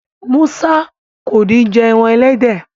Musa kọ ní jé èràn elédè.